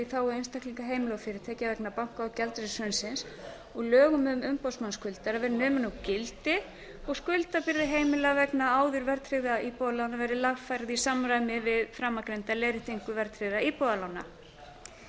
þágu einstaklinga heimila og fyrirtækja vegna banka og gjaldeyrishrunsins og lögum um umboðsmann skuldara verði numin úr gildi og skuldabyrði heimila vegna áður gengistryggðra íbúðalána verði lagfærð í samræmi við framangreinda leiðréttingu verðtryggðra íbúðalána